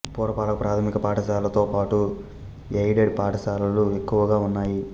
పురపాలక ప్రాథమిక పాఠశాలలతో పాటు ఎయిడెడ్ పాఠశాలలు ఎక్కువగా ఉన్నాయి